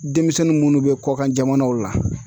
Denmisɛnnin munnu be kɔkan jamanaw la